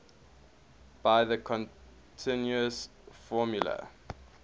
by the continuous formula